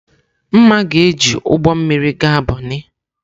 Mma ga-eji ụgbọ mmiri gaa Bonnị.